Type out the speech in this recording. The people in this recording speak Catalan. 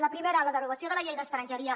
el primer la derogació de la llei d’estrangeria